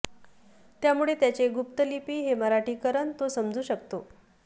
त्यामुळे त्याचे गुप्त लिपी हे मराठीकरण तो समजू शकतो